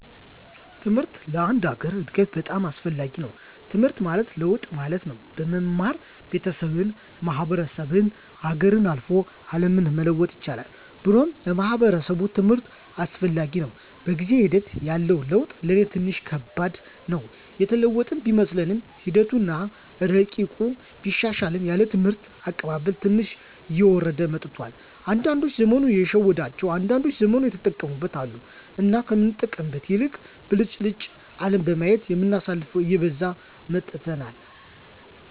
ትምሕርት ለአንድ ሀገር እድገት በጣም አስፈላጊ ነዉ። ትምሕርት ማለት ለውጥ ማለት ነው። በመማር ቤተሠብን፣ ማሕበረሰብን፣ ሀገርን፣ አልፎ አለምን መለወጥ ይቻላል ብሎም ለማሕበረሰቡ ትምህርት አስፈላጊ ነው። በጊዜ ሒደት ያለው ለውጥ ለኔ ትንሽ ከባድ ነው። የተለወጥን ቢመስለንምሒደቱ አና እረቂቁ ቢሻሻልም ያለን የትምህርት አቀባበል ትንሽ እየወረደ መጥቷል። አንዳዶች ዘመኑ የሸወዳቸው አንዳንዶች ዘመኑን የተጠቀሙበት አሉ። እና ከምንጠቀምበት ይልቅ ብልጭልጭ አለም በማየት የምናሳልፈው እየበዛን መጥተናል።